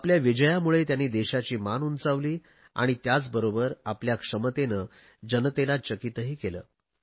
आपल्या विजयामुळे त्यांनी देशाची मान उंचावली आणि त्याचबरोबर आपल्या क्षमतेने जनतेला चकीतही केले